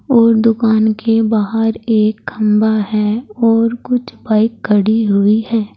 और दुकान के बाहर एक खंभा हैं और कुछ बाइक खड़ी हुई है।